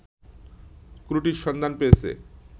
ত্রুটির সন্ধান পেয়েছে